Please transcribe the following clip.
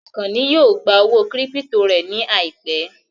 Àkànní yóò gbà owó kírípítò rẹ̀ ní àìpẹ́